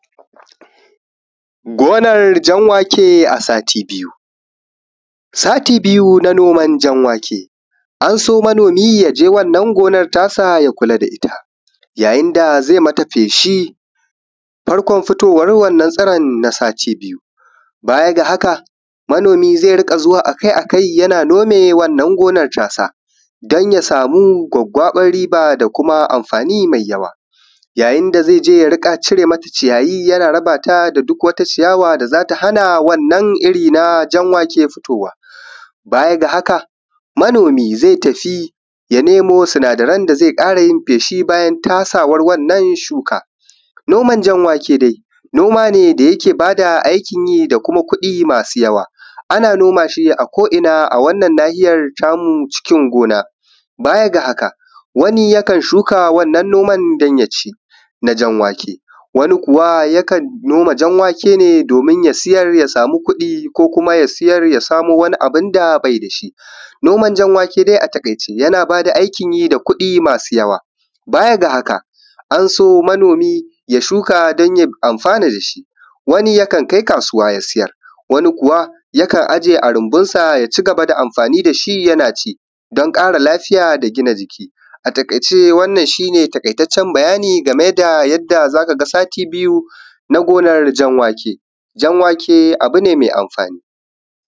Gonar jan wake a sati biyu, sati biyu na noman jan wake an so manomi ya je gonar tasa ya kula da ita yayin da zai mata feshi. Farkon fitowan wannan na na satu biyu baya ga haka yana nome wannan gonar ya samu gwaggwabar riba yayin da zai je ya rika cire mata ciyawa da za ta hana wannan iri na jan wake fitowa. Baya ga haka manomi zai ta fi ya nemo ya ƙara yin feshi bayan tasawar wannan shuka. Noma jan wake dai, noma ne da yake ba da aikin yi da kuɗi ana noma shi a ko’ina a wannan nahiya tamu cikin gona. Baya ga haka, wani yakan shuka wannan noma dan ya ci na jan wake wani kuwa yakan noma jan wake ne domin ya sayar ya samu kuɗi ko ya sayar ya samo wani abun da bai da shi. Noman jan wake Noman jan wake a takaice yana ba da aikin yi da kuɗi masu yawa baya ga haka an so manomi ya shuka don ya amfana da shi, wani yakan kai kasuwa ya sayar wani kuwa yakan aje a rumbunsa ya ci gaba da aiki da shi yana ci don kara lafiya da da gina jiki. A takaice shi ne taƙaitaccen bayani game da yadda za ka ga sati biyu na gonar jan wake. Jan wake abu ne mai amfani.